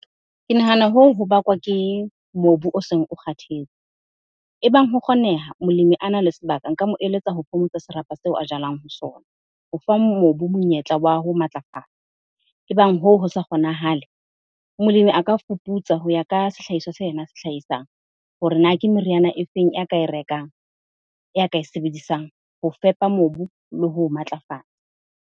Ke nahana hoo, ho bakwa ke mobu o seng o kgathetse. Ebang ho kgoneha, molemi a na le sebaka. Nka mo eletsa ho phomotsa serapa seo a jalang ho sona ho fa mobu monyetla wa ho matlafala. Ebang hoo ho sa kgonahale, molemi a ka fuputsa ho ya ka sehlahiswa se yena a se hlaisang. Hore na ke meriana e feng? Ya ka e rekang, ya ka e sebedisang ho fepa mobu le ho o matlafatsa.